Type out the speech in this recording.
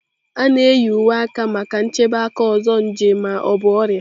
A na-eyi uwe aka maka nchebe aka ọzọ nje ma ọ bụ ọrịa.